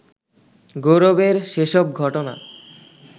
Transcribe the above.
গৌরবের সেসব ঘটনা